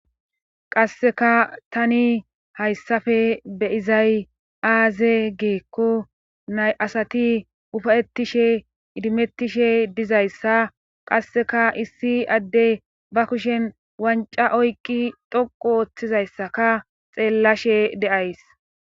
Qasseka tani hayssappe be'izay aaze giikko nay asati ufayettishe idimettishe dizayssa qasseka issi addey ba kushen wanca oyqi dhoqqu ooththizayssaka xeellashe de'ays